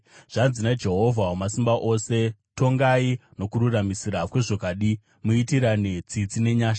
“Zvanzi naJehovha Wamasimba Ose, ‘Tongai nokururamisira kwezvokwadi; muitirane tsitsi nenyasha.